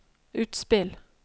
utspill